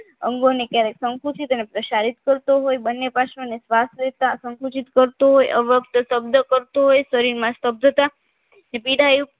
અંગોની ક્યારેક સંકુશી પ્રસારિત કરતો હોય બંને પાસોને શ્વાસ લેતા સંકોચિત કરતો હોય અવ્યક્ત શબ્દ કરતો હોય શરીરમાં સભ્યતા કે પીડા યુક્ત